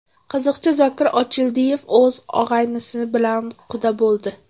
Qiziqchi Zokir Ochildiyev o‘z og‘aynisi bilan quda bo‘ldi.